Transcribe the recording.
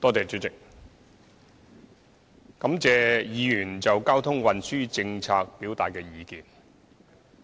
主席，我感謝議員就交通運輸政策表達的意見。